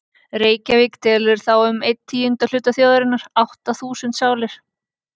Reykjavík telur þá um einn tíunda hluta þjóðarinnar, átta þúsund sálir.